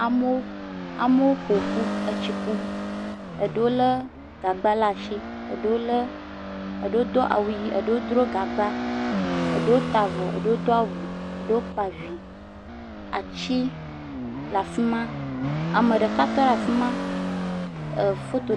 Amewo, amewo ƒo ƒu etsi kum. Eɖewo lé gaba laa shi. Eɖewo lé, eɖewo do awu yii. Eɖewo dro gagba. Eɖewo taa vɔ. Eɖewo do awu. Eɖewo kpa vi. Atsi le afi ma. Ame ɖeka tɔ ɖe afi ma ɛɛ foto.